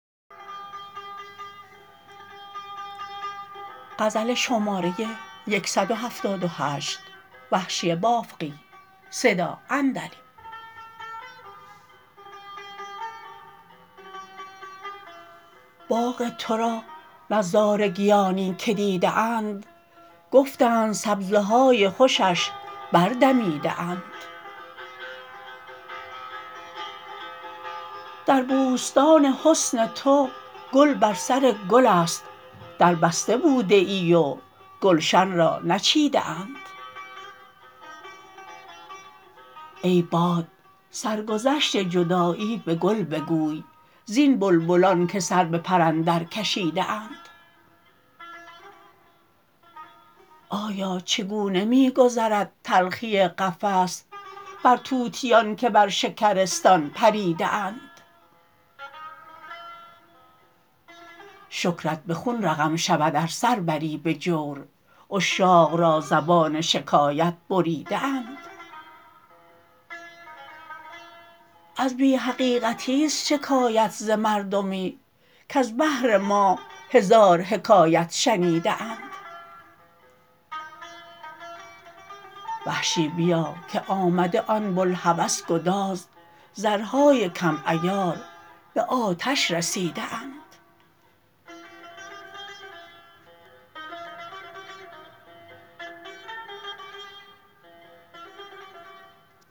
باغ ترا نظارگیانی که دیده اند گفتند سبزه های خوشش بر دمیده اند در بوستان حسن تو گل بر سر گلست در بسته بوده ای و گلش را نچیده اند ای باد سرگذشت جدایی به گل بگوی زین بلبلان که سر به پر اندر کشیده اند آیا چگونه می گذرد تلخی قفس بر طوطیان که بر شکرستان پریده اند شکرت به خون رقم شود ار سر بری به جور عشاق را زبان شکایت بریده اند از بی حقیقیست شکایت ز مردمی کز بهر ما هزار حکایت شنیده اند وحشی بیا که آمده آن بلهوس گداز زرهای کم عیار به آتش رسیده اند